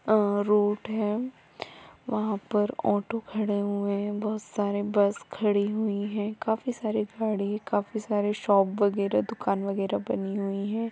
अहः road है वहा पर ऑटो खड़े हुए है बहुत सारी बस खड़ी हुई है काफी सारी गाड़ी काफी सारी शॉप वगैरा दूकान वगैरा बनी हुई है।